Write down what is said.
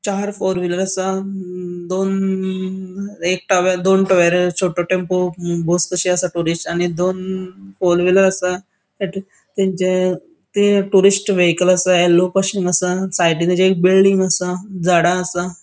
चार four wheeler असा. अ दोन एक टावे दोन टावेरा छोटो टेम्पो बस कशी असा टुरिस्ट आणि दोन फोर व्हीलर असा तेंचे ते टुरिस्ट वेहिकल असा येल्लो पासिंग आसा साइडीन तेजे एक बिल्डिंग आसा झाडा आसा.